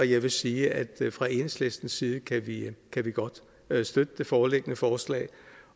jeg vil sige at fra enhedslistens side kan vi godt støtte det foreliggende forslag